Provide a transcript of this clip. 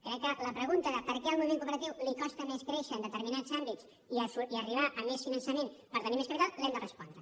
crec que la pregunta de per què al moviment cooperatiu li costa més créixer en determinats àmbits i arribar a més finançament per tenir més capital l’hem de respondre